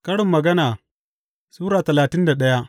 Karin Magana Sura talatin da daya